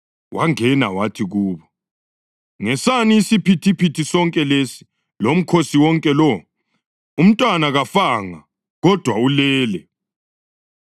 Wangena wathi kubo, “Ngesani isiphithiphithi sonke lesi lomkhosi wonke lo? Umntwana kafanga, kodwa ulele.”